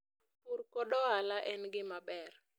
pur kod ohala en gimaber